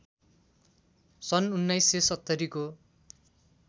सन् १९७० को